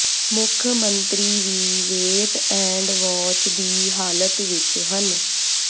ਮੁੱਖ ਮੰਤਰੀ ਵੀ ਵੇਟ ਐਂਡ ਵਾਚ ਦੀ ਹਾਲਤ ਵਿੱਚ ਹਨ